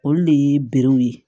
Olu de ye berew ye